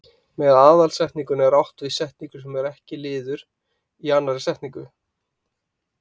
Með aðalsetningu er átt við setningu sem ekki er liður í annarri setningu.